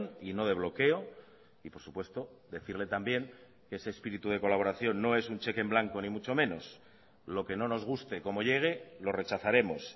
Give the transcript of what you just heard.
y no de bloqueo y por supuesto decirle también que ese espíritu de colaboración no es un cheque en blanco ni mucho menos lo que no nos guste como llegue lo rechazaremos